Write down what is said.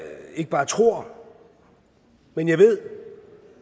ikke bare tror men jeg ved